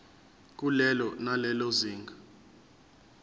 kulelo nalelo zinga